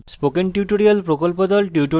spoken tutorial প্রকল্প the